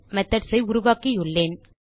methods ஐ உருவாக்கியுள்ளேன்